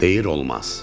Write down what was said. Deyir, olmaz.